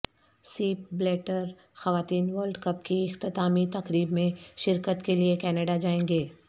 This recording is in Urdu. سیپ بلیٹر خواتین ورلڈ کپ کی اختتامی تقریب میں شرکت کے لیے کینیڈا جائیں گے